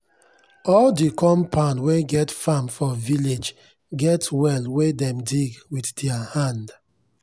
all de compound wen get farm for village get well wen dem dig wit dier hand.